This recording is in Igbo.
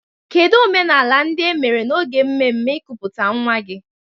Kedu omenala ndị e mere n'oge mmemme nkuputa nwa gị?